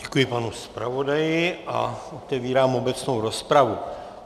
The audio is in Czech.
Děkuji, panu zpravodaji a otevírám obecnou rozpravu.